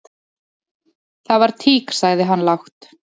"""Það var tík, sagði hann lágt."""